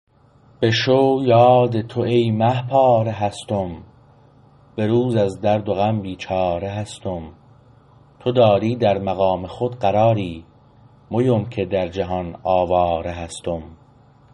به شو یاد تو ای مه پاره هستم به روز از درد و غم بیچاره هستم تو داری در مقام خود قراری مویم که در جهان آواره هستم